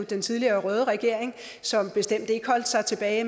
den tidligere røde regering som bestemt ikke holdt sig tilbage